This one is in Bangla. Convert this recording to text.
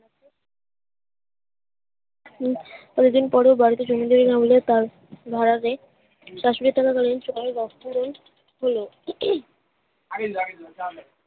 হম অনেকদিন পরে বাড়িতে চলে গেলেন না হইলে তার ভাঁড়ারে শাশুড়ি থাকা কালীন সবাই ব্যাস্ত হলেন হল